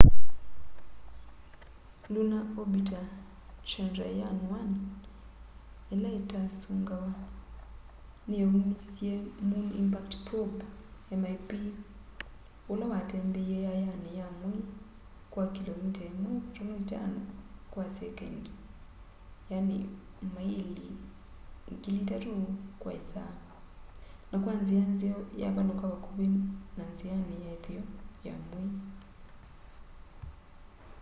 lunar orbiter chandrayaan-1 ila itasungawa niyaumisye moon impact probe mip ula watembeie yayayani ya mwei kwa kilomita 1.5 kwa sekondi maili 3000 kwa isaa na kwa nzia nzeo yavaluka vakuvi na nziani ya itheo ya mwei